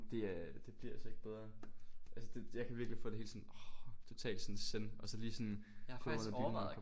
Det øh det bliver altså ikke bedre altså det jeg kan virkelig få det helt sådan åh totalt sådan zen og så lige sådan kravle under dynen